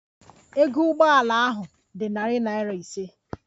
Ego Ụgbọ ala ahụ dị narị naira ise